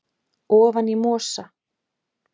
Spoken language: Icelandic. ofan í mosa